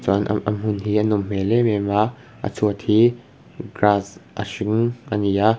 chuan am a hmun hi a nawm hmel em em a a chhuat hi grass a hring a ni a.